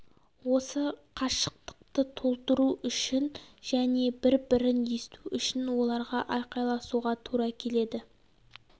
осы қашықтықты толтыру үшін және бір бірін есту үшін оларға айқайласуға тура келеді